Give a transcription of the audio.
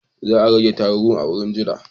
Za a riƙa tarun a wurin jira.